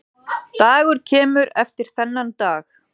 Dagur kemur eftir þennan dag.